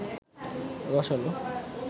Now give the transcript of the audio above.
রসালো